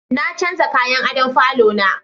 Na canja kayan adon falo na